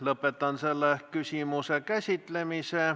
Lõpetan selle küsimuse käsitlemise.